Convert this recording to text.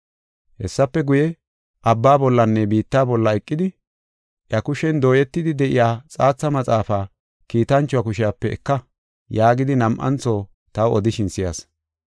Hessafe guye, abba bollanne biitta bolla eqidi, “Iya kushen dooyetidi de7iya xaatha maxaafaa kiitanchuwa kushepe eka” yaagidi nam7antho taw odishin si7as.